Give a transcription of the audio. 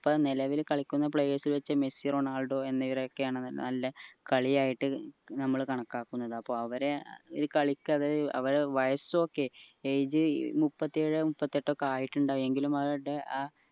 ഇപ്പൊ നിലവിൽ കളിക്കുന്ന players വെച് മെസ്സി റൊണാൾഡോ എന്നിവരൊക്കെയാണ് നല്ല കളിയായിട്ട് നമ്മൾ കണക്കാക്കുന്നത് അപ്പൊ അവരെ ഒരു കളിക്കവരെ അവരെ വയസ് okay age മുപ്പത്തിയേഴ് മുപ്പത്തിയെട്ട് ഒക്കെ ആയിട്ടുണ്ടാവും എങ്കിലും അവരുടെ ആ